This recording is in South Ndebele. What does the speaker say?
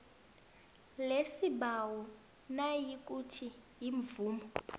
lesibawo nayikuthi imvumo